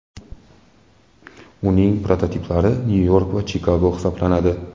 Uning prototiplari Nyu-York va Chikago hisoblanadi.